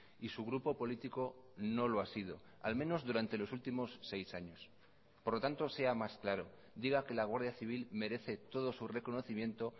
y su grupo político no lo ha sido al menos durante los últimos seis años por lo tanto sea más claro diga que la guardia civil merece todo su reconocimiento